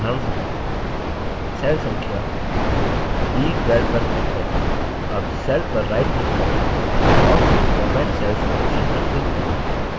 उदाहरणस्वरूप सेल संख्या b12 पर क्लिक करते हैं अब सेल पर राइट क्लिक करें और फिर format cells ऑप्शन पर क्लिक करें